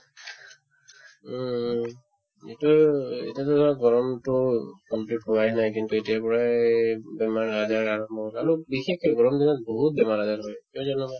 উম, এইটোয়ে আৰু এতিয়াতো আৰু গৰমতো complete হোৱাই নাই কিন্তু এতিয়াৰ পৰাই বেমাৰ-আজাৰ আৰম্ভ হৈ হৈছে আৰু বিশেষকে গৰমদিনত বহুত বেমাৰ-আজাৰ হয় কিয় জানোবা